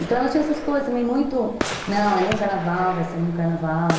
Então, ela tinha essas coisas também muito... Não, é no carnaval, vai ser no carnaval.